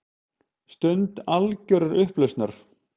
Stund algjörrar upplausnar.